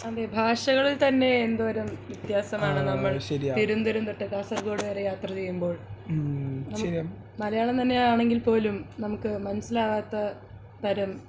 അതെ ഭാഷകളിൽ തന്നെ എന്തോരം വ്യത്യാസമാണ് നമ്മൾ തിരുവനന്തപുരം തൊട്ട് കാസർകോട് വരെ യാത്ര ചെയ്യുമ്പോൾ മലയാളം തന്നെ ആണെങ്കിൽ പോലും നമുക്ക് മനസ്സിലാകാത്ത തരം